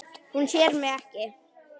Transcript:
Hún sér mig ekki.